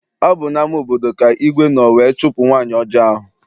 Ọ bụ n'ama obodo ka igwe nọ wee chụpụ nwaanyị ọjọọ ahụ.